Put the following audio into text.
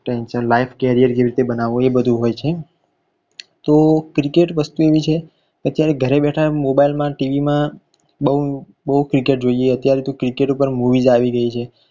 tention life career કેવી રીતે બનાવવું એ બધુ હોય છે તો cricket વસ્તુ એવી છે કે અત્યારે ઘરે બેઠા મોબાઈલમાં tv માં બોવ બોવ cricket જોઈએ અત્યારે તો cricket પર movie આવી રહી છે.